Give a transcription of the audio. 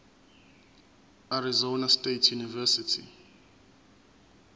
arizona state university